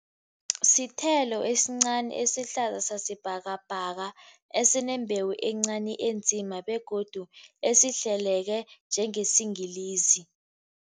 Sithelo esincani esihlaza sasibhakabhaka, esinembewu encani enzima begodu esihleleke njengesiyingilizi.